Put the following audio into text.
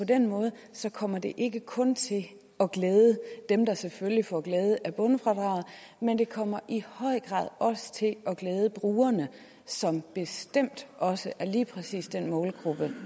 den måde kommer det ikke kun til at glæde dem der selvfølgelig får glæde af bundfradraget men det kommer i høj grad også til at glæde brugerne som bestemt også er lige præcis den målgruppe